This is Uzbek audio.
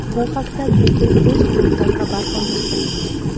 Bu haqda Google o‘z blogida xabar qoldirgan .